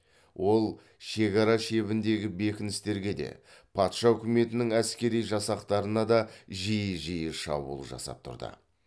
ол шекара шебіндегі бекіністерге де патша үкіметінің әскери жасақтарына да жиі жиі шабуыл жасап тұрды